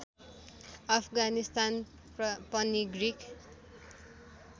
अफगानिस्तान पनि ग्रिक